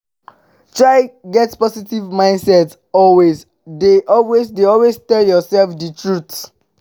try get positive mindset and always de always de tell yourself di truth